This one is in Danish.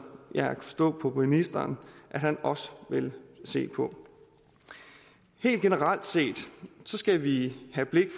jeg kan forstå på ministeren han også vil se på helt generelt set skal vi have blikket